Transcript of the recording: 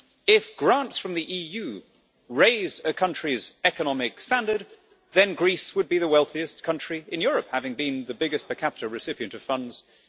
If grants from the EU raised a country's economic standard, then Greece would be the wealthiest country in Europe, having been the biggest per capita recipient of funds since